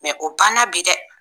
obanna bi dɛ!